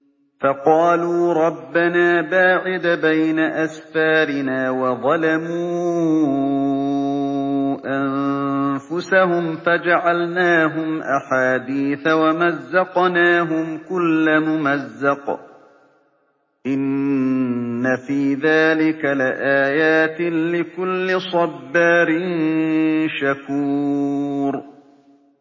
فَقَالُوا رَبَّنَا بَاعِدْ بَيْنَ أَسْفَارِنَا وَظَلَمُوا أَنفُسَهُمْ فَجَعَلْنَاهُمْ أَحَادِيثَ وَمَزَّقْنَاهُمْ كُلَّ مُمَزَّقٍ ۚ إِنَّ فِي ذَٰلِكَ لَآيَاتٍ لِّكُلِّ صَبَّارٍ شَكُورٍ